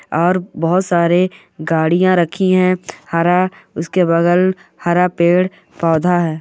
और बहुत सारे गाड़ियां रखी है। हर उसके बगल हर पेट पौधा है।